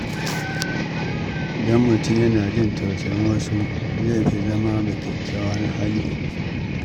Idan mutum yana jin tausayin wasu, zai fi zama mai kyakkyawan hali.